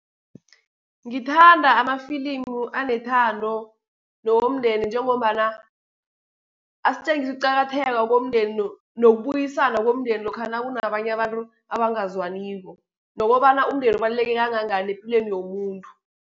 Ngithanda amafilimu anethando, nowomndeni, njengombana asitjengisa ukuqakatheka komndeni, nokubuyisana komndeni lokha nakunabanye abantru abangazwaniko, nokobana umndeni kubaluleke kangangani epilweni yomuntu.